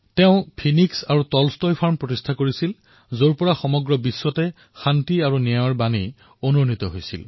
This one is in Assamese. তেওঁ ফিনিক্স আৰু টলষ্টয় ফাৰ্মছৰ স্থাপন কৰিছিল যৰ পৰা সমগ্ৰ বিশ্বত শান্তি আৰু ন্যায়ৰ বাবে ধ্বনি উচ্চাৰিত হৈছিল